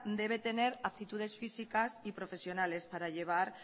debe de tener actitudes físicas y profesionales para llevar